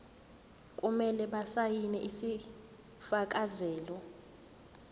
kumele basayine isifakazelo